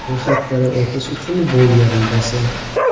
Ro‘yxatdan o‘tish uchun bu yerni bosing.